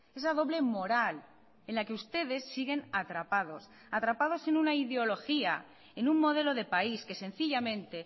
esa doble moral en la que ustedes siguen atrapados atrapados en una ideología en un modelo de país que sencillamente